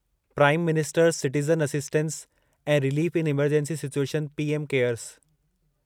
prime ministers citizen assistance and relief in emergency situation PM cares